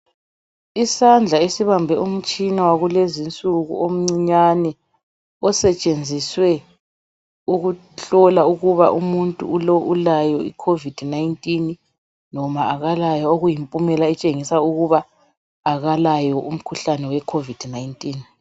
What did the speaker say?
Isandla esibambe umtshina wakulezi insuku omncinyane osetshenziswe ukuhlola ukuba umuntu lo ulayo i covid19 noma akalayo okuyimpumela etshengisa ukuba akalayo umkhuhlane wecovid19.